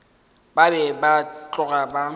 ba be ba tloga ba